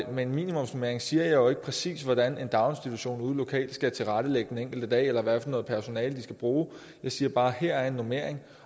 om en minimumsnormering siger jeg jo ikke præcis hvordan en daginstitution lokalt skal tilrettelægge den enkelte dag eller hvilket personale der skal bruges jeg siger bare her er en normering